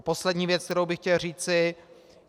Poslední věc, kterou bych chtěl říci.